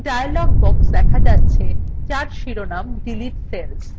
একটি dialog box দেখা যাচ্ছে যার শিরোনাম delete cells